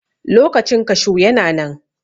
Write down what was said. Lokacin kashu yana nan.